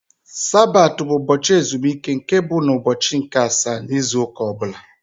Sabat bụ ụbọchị ezumike nke bụ na ụbọchị nke asaá n' ịzụ ụka ọbula.